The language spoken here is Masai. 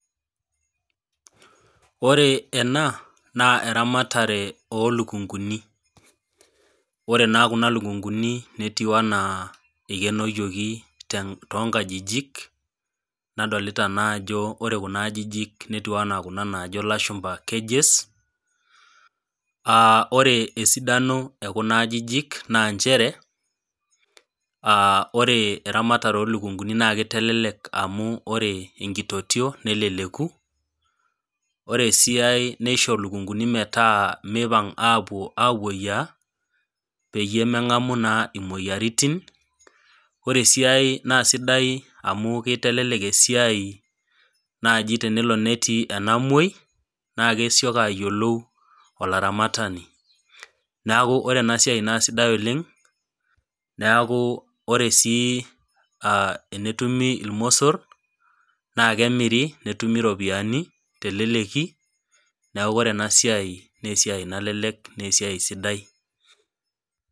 Oreena na eramatare olukunguni ore na kuna lukunguni netiu ana ikenoyieki tonkajijik nadolta ajo ore kuna ajijik netiu ana kuna najo lashumba cages aa ore esidano ekuna ajijik na nchere ore ermatare onkukuni na kitelelek amu ore enkitotio neleleku ore esiai nisho lukunguni metaa meahomo amoyia metaa mengamu na imoyiaritin ore esiai na sidai amu kitelek esiai tenelo netii enamwoi na kesioki ayiolou olaramatani neaku ore enasiai na kesidai oleng neaku ore sii tenetumi irmosor nakemiri netumi ropiyani teleleki neaku ore enasiai na esiai nalelek na esiai sidai .